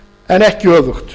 en ekki öfugt